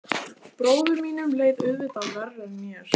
Bróður mínum leið auðvitað verr en mér.